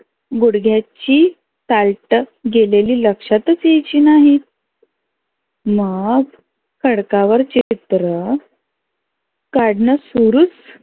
घुढग्याची साल्ट गेलेली लक्षातच यायची नाहीत. मग खडका वर चित्र काढनं सुरुचं.